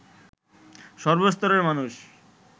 সর্বস্তরের মানুষ